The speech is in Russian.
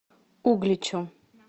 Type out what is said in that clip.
угличу